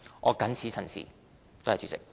我謹此陳辭。